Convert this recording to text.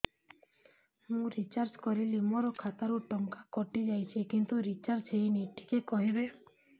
ମୁ ରିଚାର୍ଜ କରିଲି ମୋର ଖାତା ରୁ ଟଙ୍କା କଟି ଯାଇଛି କିନ୍ତୁ ରିଚାର୍ଜ ହେଇନି ଟିକେ କହିବେ